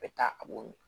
Bɛ taa a b'o min